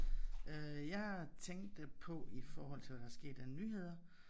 Øh jeg tænkte på i forhold til hvad der er sket af nyheder